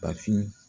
Bafin